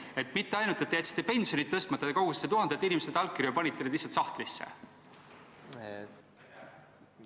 Nii et mitte ainult see, et te jätsite pensionid tõstmata, vaid te kogusite tuhandetelt inimestelt allkirju ja panite need lihtsalt sahtlisse?